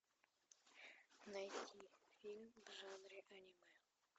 найти фильм в жанре аниме